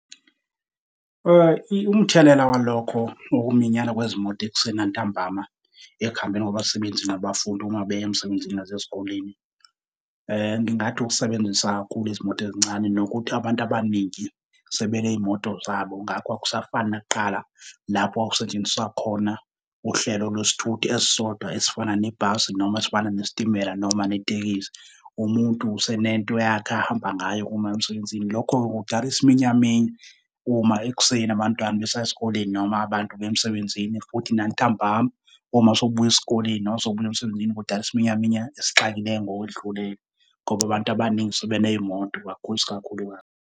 Umthelela walokho, ukuminyana kwezimoto ekuseni nantambama, ekuhambeni kwabasebenzi nabafundi uma beya emsebenzini nasesikoleni, ngingathi ukusebenzisa kakhulu izimoto ezincane nokuthi abantu abaningi sebenezimoto zabo ngakho akusafani nakuqala, lapho kwakusetshenziswa khona uhlelo lwesithuthi esisodwa esifana nebhasi noma esifana nesitimela noma netekisi. Umuntu usenento yakhe ahamba ngayo uma eya emsebenzini. Lokho ke kudala isiminyaminya uma ekuseni abantwana besaya esikoleni noma abantu beya emsebenzini futhi nantambama, uma sewubuya esikoleni noma sewubuya emsebenzini kudala isiminyaminya esixakileyo ngokwedlule ngoba abantu abaningi sebe neymoto kakhulu iskakhulukazi.